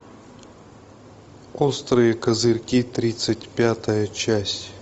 острые козырьки тридцать пятая часть